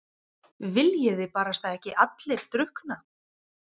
Viljiði barasta ekki allir drukkna?